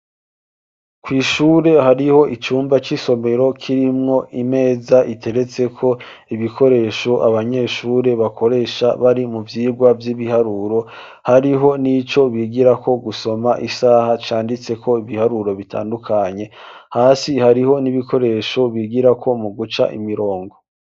kw' ishure hariho icumba c'isomero kirimwo imeza iteretseko ibikoresho abanyeshure bakoresha bari mu vyigwa vy'ibiharuro ,hariho n'ico bigirako gusoma isaha canditseko ibiharuro bitandukanye, hasi hariho n'ibikoresho bigirako mu guca imirongo.